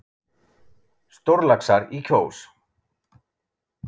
Stórlaxar í Kjós